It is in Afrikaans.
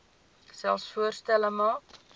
selfs voorstelle maak